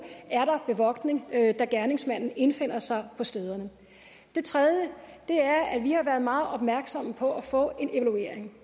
er der bevogtning da gerningsmanden indfinder sig på stederne det tredje er at vi har været meget opmærksomme på at få en evaluering